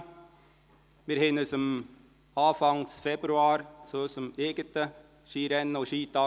Anfang Februar trafen wir uns zu unserem eigenen Skirennen und Skitag.